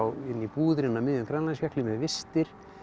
inn í búðir inni á miðjum Grænlandsjökli með vistir